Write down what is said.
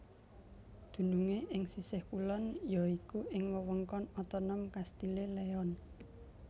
Dunungé ing sisih kulon ya iku ing Wewengkon Otonom Castile Leon